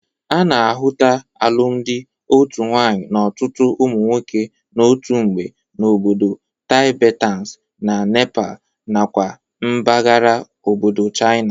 A na-ahụta alụmalụ otu nwaanyị n'ọtụtụ ụmụ nwoke n'otu mgbe n'obodo Tibetans na Nepal nakwa mbagara obodo China.